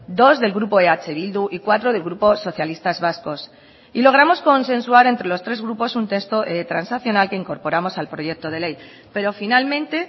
dos del grupo eh bildu y cuatro del grupo socialistas vascos y logramos consensuar entre los tres grupos un texto transaccional que incorporamos al proyecto de ley pero finalmente